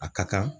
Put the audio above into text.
A ka kan